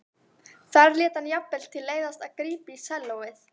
Þar lét hann jafnvel til leiðast að grípa í sellóið.